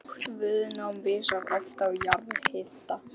Lágt viðnám vísar oft á jarðhita